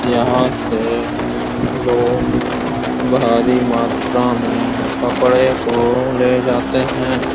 यहाँ से लोग भारी मात्रा में कपडे को ले जाते हैं।